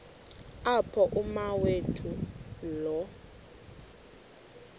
apho umawethu lo